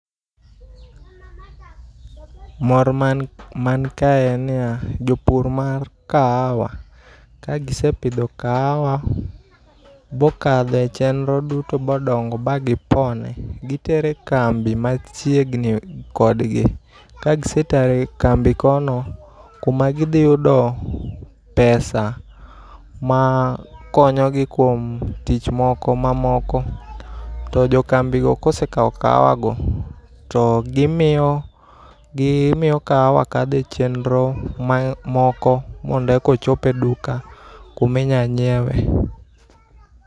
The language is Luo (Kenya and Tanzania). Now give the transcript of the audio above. Mor man kae en niya jopur mar kahawa kagise pidho kahawa bokadhe echenro duto bodongo ba gipone gitere e kambi machiegni kodgi. Kagisetere e kambi kono kuma gidhi yudo pesa makonyogi kuom tich moko mamoko to jokambi go e kosekaw kahawa go to gimiyo kahawa kadho e chenro moko mondo e ko chi e duka kuminya nyiewe.